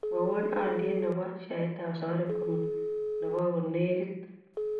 Mwowon alyet ne po sheaitap safaricom nee ebo konegit